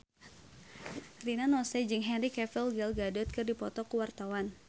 Rina Nose jeung Henry Cavill Gal Gadot keur dipoto ku wartawan